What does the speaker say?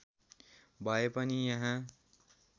भए पनि यहाँ